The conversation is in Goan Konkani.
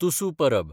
तुसू परब